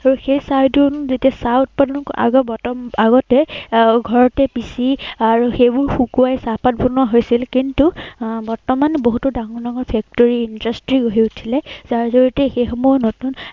আৰু সেই ঠাইবোৰত যেতিয়া চাহ উৎপাদন এৰ আগতে সেই ঘৰতে পিচি আৰু সেইবোৰ শুকুৱাই চাহপাত বনোৱা হৈছিল, কিন্তু আহ বৰ্তমান বহুতো ডাঙৰ ডাঙৰ factory industry গঢ় উঠিলে। যাৰ জড়িয়তে সেইসমূহ নতুন